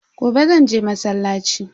Gobe zanje masallaci.